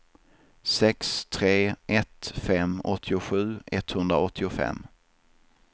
sex tre ett fem åttiosju etthundraåttiofem